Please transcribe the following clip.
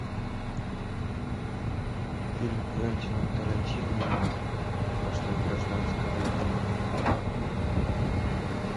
фильм квентина тарантино после гражданской войны